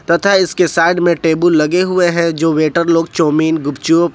तथा इसके साइड में टेबुल लगे हुए हैं जो वेटर लोग चाऊमीन गुपचुप--